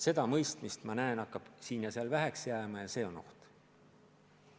Seda mõistmist, ma näen, hakkab siin ja seal väheks jääma ja see on oht.